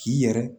K'i yɛrɛ